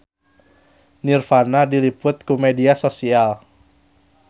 Nirvana diliput ku media nasional